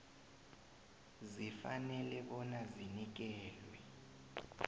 zifanele bona zinikelwe